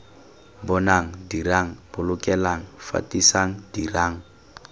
bonang dirang bolokelang fetisang dirang